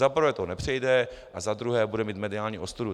Za prvé to nepřejde a za druhé bude mít mediální ostudu.